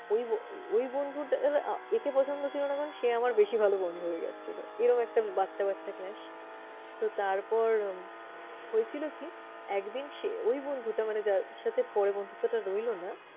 ওই ওই বন্ধুটার একে পছন্দ ছিল না মানে সে আমার বেশি ভালো বন্ধু হয়ে গেছিলো এরম একটা বাচ্ছা বাচ্ছা clash । তো তারপর হয়েছিল কি? একদিন সে ওই বন্ধুটা মানে যার সাথে পরে বন্ধুত্বটা রইলো না